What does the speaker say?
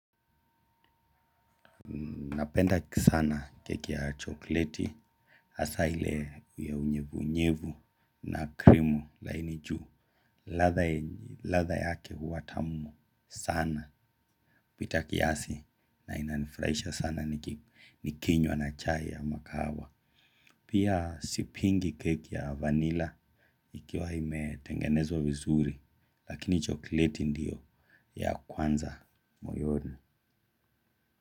Napenda kisana keki ya chokleti, hasa ile ya unyevunyevu na krimu laini juu ladha. Latha yake huwa tamu sana. Pita kiasi na inaniurahisha sana nikinywa na chai ya mkahawa. Pia sipingi keki ya vanila ikiwa imetengenezwa vizuri. Lakini chokleti ndiyo ya kwanza moyoni.